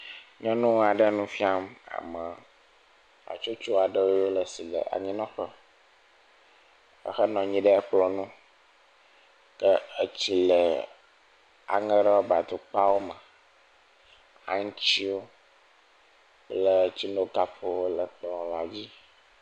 Nyɔnua ɖe nu fiam ame hatsotso aɖe si le anyinɔƒe, ehe nɔ anyi ɖe kplɔ ŋu, ke etsi le aŋe rɔbatukpawo me, aŋutiwo kple tsinukapwo le kplɔ la dzi.